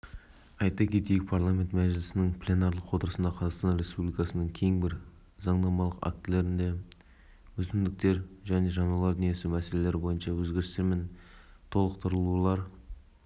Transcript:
ұсынылып отырған заң жобасында ауылдық жерде жұмыс атқарып жатқан орман және жануарлар дүниесі шаруашылықтарының азаматтық қызметкерлерінің